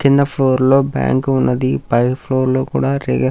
కింద ఫ్లోర్ లో బ్యాంకు ఉన్నది పై ఫ్లోర్ లో కూడా --